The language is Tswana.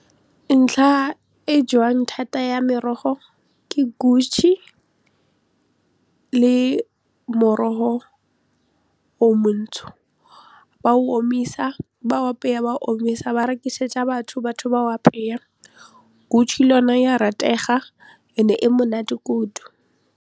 Ntlha e jewang thata ya merogo ke le morogo o montsho, ba o omisa ba o apeya ba o omisa ba rekisetsa batho, batho ba o apeya le yone ya ratega and-e monate kudu.